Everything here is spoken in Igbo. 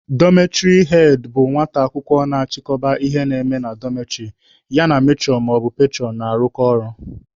Dọmetịrị head bụ nwata akwụkwọ na-achịkọba ihe na-eme na dọmetịrị, ya na metụrọn/petụrọn na-arụkọ ọrụ.